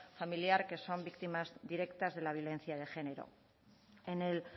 familiar que son víctimas directas de la violencia de género en el